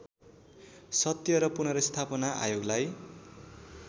सत्य र पुनर्स्थापना आयोगलाई